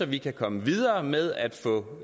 vi kan komme videre med at få